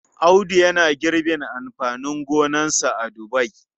Audu yana girbin amfanin gonarsa a Daura.